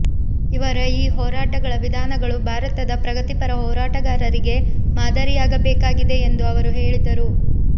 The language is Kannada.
ಇವರ ಈ ಹೋರಾಟಗಳ ವಿಧಾನಗಳು ಭಾರತದ ಪ್ರಗತಿಪರ ಹೋರಾಟಗಾರರಿಗೆ ಮಾದರಿಯಾಗಬೇಕಾಗಿದೆ ಎಂದು ಅವರು ಹೇಳಿದರು